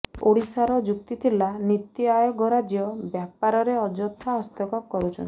ଓଡ଼ିଶାର ଯୁକ୍ତି ଥିଲା ନୀତି ଆୟୋଗ ରାଜ୍ୟ ବ୍ୟାପାରରେ ଅଯଥା ହସ୍ତକ୍ଷେପ କରୁଛନ୍ତି